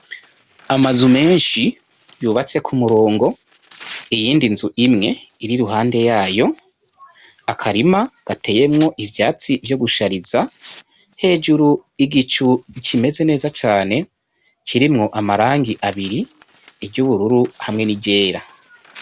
Ama nzu menshi yubatse ku murongo iyindi nzu imwe iri ruhande, yayo akarima gateyemwo ivyatsi vyo gushariza hejuru igicu kimeze neza cane kirimwo amarangi abiri iry'ubururu hamwe n'iryera.